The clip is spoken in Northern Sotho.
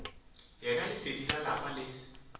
yena lesedi la lapa le